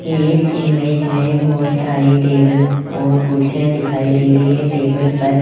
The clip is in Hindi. इस इमेज में बहोत सारी टेबल और कुर्सियां दिखाई दे रही है टेबल पर--